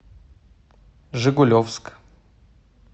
жигулевск